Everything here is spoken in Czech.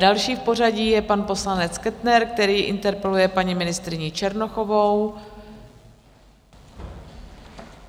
Další v pořadí je pan poslanec Kettner, který interpeluje paní ministryni Černochovou.